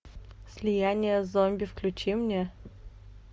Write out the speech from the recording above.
слияние с зомби включи мне